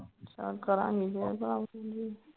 ਚੱਲ ਕਰਾਂਗੀ